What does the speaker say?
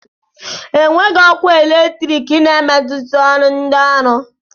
Enweghị ọkụ eletrik na-emetụta ọrụ ndị ọrụ